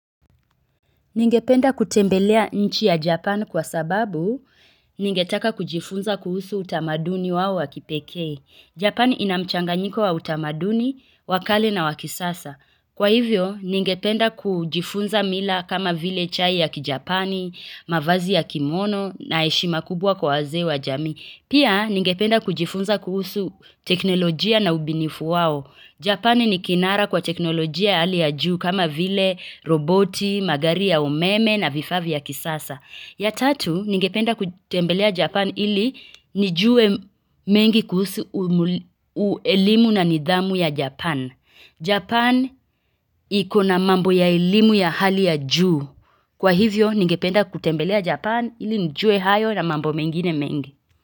Ningependa kutembelea nchi ya Japan kwa sababu ningetaka kujifunza kuhusu utamaduni wao wa kipekee. Japan ina mchanganyiko wa utamaduni, wa kale na wa kisasa. Kwa hivyo, ningependa kujifunza mila kama vile chai ya kijapani, mavazi ya kimono na heshima kubwa kwa wazee wa jamii. Pia ningependa kujifunza kuhusu teknolojia na ubunifu wao Japani ni kinara kwa teknolojia ya hali ya juu kama vile roboti, magari ya umeme na vifaa vya kisasa. Ya tatu, ningependa kutembelea Japan ili nijuwe mengi kuhusu elimu na nidhamu ya japan Japan iko na mambo ya elimu ya hali ya juu. Kwa hivyo, ningependa kutembelea Japan ili nijue hayo na mambo mengine mengi.